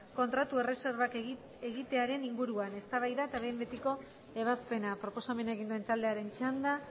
kontratu erreserbak egitearen inguruan eztabaida eta behin betiko ebazpena proposamena egin duen taldearen txanda